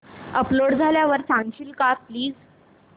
upload झाल्यावर सांगशील का प्लीज